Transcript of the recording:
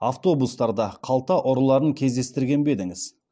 автобустарда қалта ұрыларын кездестірген бе едіңіз